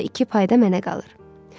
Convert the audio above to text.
Onda iki pay da mənə qalır.